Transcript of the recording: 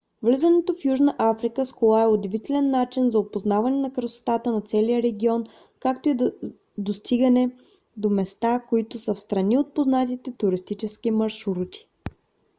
влизането в южна африка с кола е удивителен начин за опознаване на красотата на целия регион както и да достигане до места които са встрани от познатите туристически маршрути